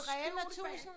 Rema 1000